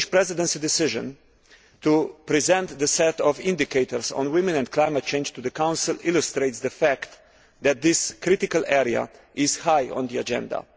The Danish Presidency decision to present the set of indicators on women and climate change to the Council illustrates the fact that this critical area is high on the agenda.